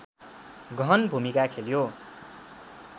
गहन भूमिका खेल्यो